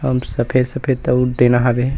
अब सफ़ेद-सफ़ेद टीना हावे।